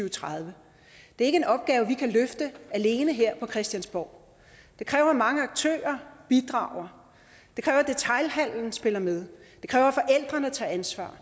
og tredive det er ikke en opgave vi kan løfte alene her på christiansborg det kræver at mange aktører bidrager det kræver at detailhandelen spiller med det kræver at forældrene tager ansvar